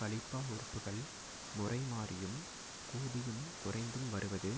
கலிப்பா உறுப்புகள் முறைமாறியும் கூடியும் குறைந்தும் வருவது